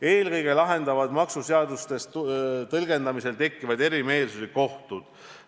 " Eelkõige lahendavad maksuseaduste tõlgendamisel tekkivaid eriarvamusi kohtud.